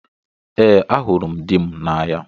Ee, ahụrụ m dị m n'anya